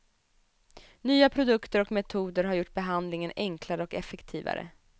Nya produkter och metoder har gjort behandlingen enklare och effektivare.